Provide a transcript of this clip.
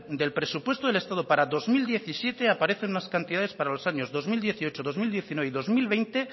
del presupuesto del estado para el dos mil diecisiete aparecen unas cantidades para los años dos mil dieciocho dos mil diecinueve y dos mil veinte